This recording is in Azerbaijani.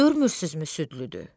Görmürsünüzmü südlüdür?